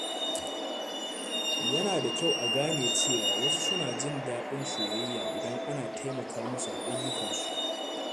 Yana da kyau a gane cewa wasu suna jin daɗin soyayya idan ana taimaka musu a ayyukansu.